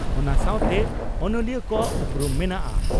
ᱚᱱᱟ ᱥᱟᱣᱛᱮ ᱚᱱᱚᱞᱤᱭᱟᱹ ᱠᱚᱣᱟᱜ ᱩᱯᱨᱩᱢ ᱢᱮᱱᱟᱜᱼᱟ ᱾